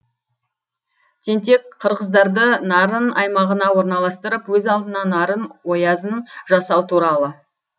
тентек қырғыздарды нарын аймағына орналастырып өз алдына нарын оязын жасау туралы